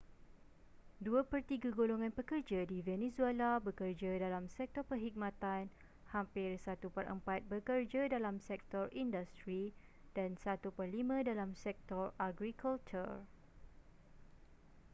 dua pertiga golongan pekerja di venezuela bekerja dalam sektor perkhidmatan hampir satu perempat bekerja dalam sektor industri dan satu perlima dalam sektor agrikultur